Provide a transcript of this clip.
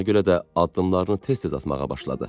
Ona görə də addımlarını tez-tez atmağa başladı.